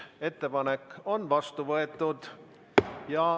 Ettepanek on vastu võetud.